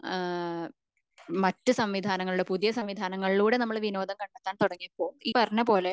ഏഹ്ഹ് മറ്റു സംവിധാനങ്ങളിലൂടെ പുതിയ സംവിധാനങ്ങളിലൂടെ നമ്മൾ വിനോദം കണ്ടെത്താൻ തുടങ്ങിയപ്പോ ഈ പറഞ്ഞപോലെ